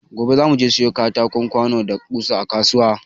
Gobe za mu je siyo katako, kwano da ƙusa a kasuwa.